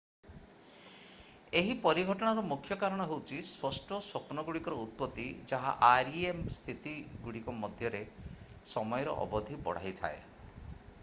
ଏହି ପରିଘଟଣାର ମୁଖ୍ୟ କାରଣ ହେଉଛି ସ୍ପଷ୍ଟ ସ୍ୱପ୍ନଗୁଡ଼ିକର ଉତ୍ପତ୍ତି ଯାହା rem ସ୍ଥିତିଗୁଡ଼ିକ ମଧ୍ୟରେ ସମୟର ଅବଧି ବଢାଇ ଥାଏ